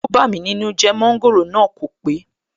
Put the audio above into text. ó bámi nínú jẹ́, Mọ́ńgòrò náà kò pé